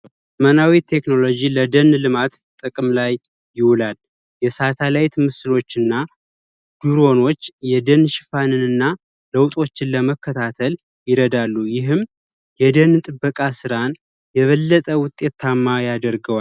መናዊት የቴክኖሎጂ ለደን ልማት ጥቅም ላይ ይውላል። የሳተላይት ምስሎችና ድሮኖች የደን ሽፋን እና ለውጦችን ለመከታተል ይረዳሉ። ይህም የደን ጥበቃ ሥራን የበለጠ ውጤታማ ያደርገዋል።